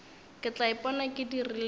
ke tla ipona ke dirileng